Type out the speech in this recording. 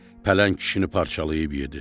Pələng kişini parçalayıb yedi.